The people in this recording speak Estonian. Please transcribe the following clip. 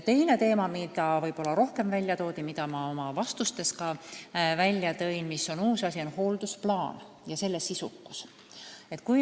Teine teema on võib-olla uus asi, nimelt hooldusplaan ja selle sisukus.